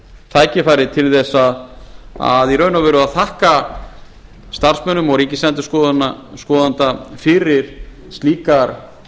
tækifærið til þess í raun og veru að þakka starfsmönnum og ríkisendurskoðanda fyrir slíkar